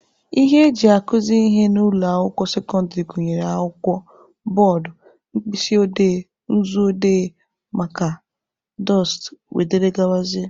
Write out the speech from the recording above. Ihe eji akụzị ihe n'ụlọ akwụkwọ sekọndịrị gụnyere akwụkwọ, bọọdụ, mkpịsị odee/nzu odee, maaka, dọsta wdg